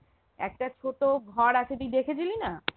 একটা ছোট ঘর আছে তুই দেখেছিলি না?